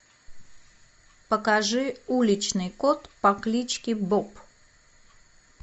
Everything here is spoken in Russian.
покажи уличный кот по кличке боб